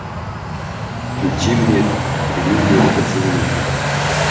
включи мне прелюдия к поцелую